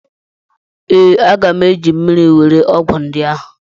Ee, aga m eji mmiri were ọgwụ ndị ahụ.